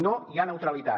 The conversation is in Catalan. no hi ha neutralitat